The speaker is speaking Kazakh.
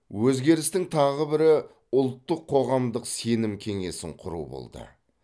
өзгерістің тағы бірі ұлттық қоғамдық сенім кеңесін құру болды